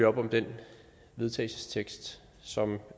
op om den vedtagelsestekst som